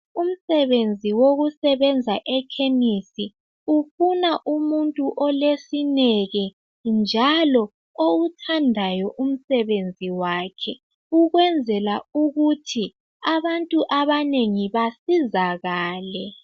Umsebenzi wokusebenza ekhemisi ufuna umuntu olesineke njalo okuthandayo umsebenzi wakhe ukwenzela ukuthi abantu abanengi basizakale